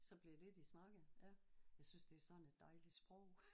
Så blev det det de snakkede ja. Jeg synes det er sådan et dejligt sprog